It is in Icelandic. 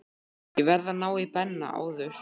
Ég varð að ná í Benna áður.